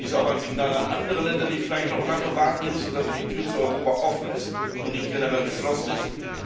Dies ist auch ein Signal an andere Länder, die vielleicht noch lange warten müssen, bis die Tür zu Europa offen und nicht generell geschlossen ist.